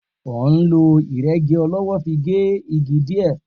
O n ló ìrégi ọlówó fi n gé igi dìé